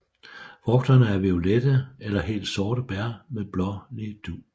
Frugterne er violette eller helt sorte bær med blålig dug